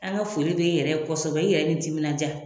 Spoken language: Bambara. An ga foli be e yɛrɛ ye kosɛbɛ e yɛrɛ ni timinan ja